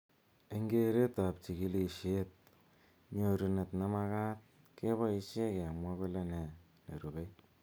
Eng keret ab chikilishet nyorunet nemakat keboishe kemwa kole ne nerubei.